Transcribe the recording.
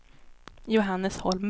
Johannes Holmberg